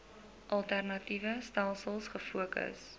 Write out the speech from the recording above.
alternatiewe stelsels gefokus